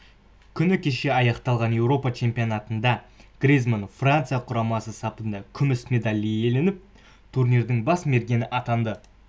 күні кеше аяқталған еуропа чемпионатында гризманн франция құрамасы сапында күміс медаль иеленіп турнирдің бас мергені атанды